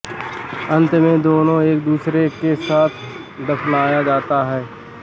अंत में दोनों को एक दूसरे के साथ दफनाया जाता है